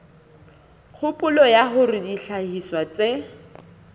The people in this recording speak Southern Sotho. kgopolo ya hore dihlahiswa tse